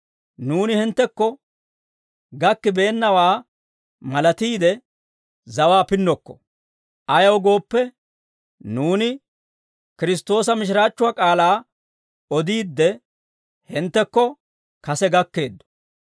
Nuuni hinttekko gakkibeennawaa malatiide, zawaa pinnokko; ayaw gooppe, nuuni Kiristtoosa mishiraachchuwaa k'aalaa odiidde, hinttekko kase gakkeeddo.